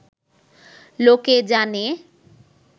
লোকে জানে